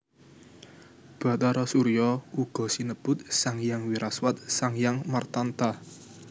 Bhatara Surya uga sinebut Sanghyang Wiraswat Sanghyang Martanta